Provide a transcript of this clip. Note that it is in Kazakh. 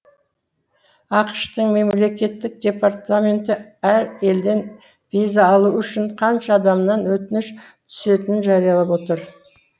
ақш тың мемлекеттік департаменті әр елден виза алу үшін қанша адамнан өтініш түсетінін жариялап отыр